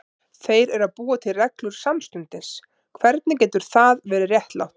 Þeir eru að búa til reglur samstundis, hvernig getur það verið réttlátt?